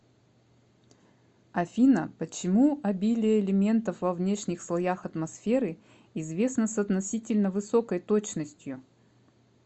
афина почему обилие элементов во внешних слоях атмосферы известно с относительно высокой точностью